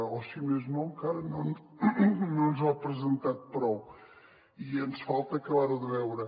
o si més no encara no ens l’ha presentat prou i ens falta acabar ho de veure